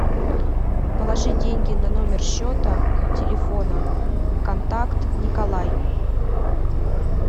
положи деньги на номер счета телефона контакт николай